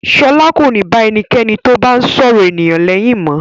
Ṣọlá kò ní bá ẹnikẹ́ni tó bá ń sọ̀rọ̀ ènìyàn lẹ́yìn mọ́.